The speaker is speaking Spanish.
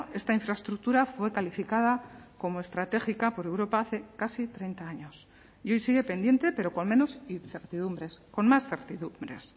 esta infraestructura fue calificada como estratégica por europa hace casi treinta años y hoy sigue pendiente pero con menos incertidumbres con más certidumbres